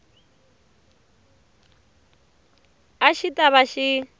a xi ta va xi